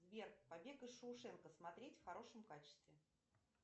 сбер побег из шоушенка смотреть в хорошем качестве